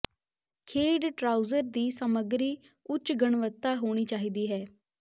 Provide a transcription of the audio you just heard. ਖੇਡ ਟਰਾਊਜ਼ਰ ਦੀ ਸਮੱਗਰੀ ਉੱਚ ਗੁਣਵੱਤਾ ਹੋਣੀ ਚਾਹੀਦੀ ਹੈ